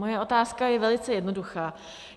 Moje otázka je velice jednoduchá.